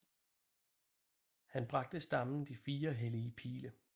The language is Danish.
Han bragte stammen de fire hellige pile